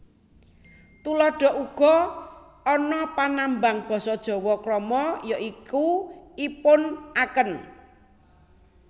Tuladha Uga ana panambang basa Jawa krama ya iku ipun aken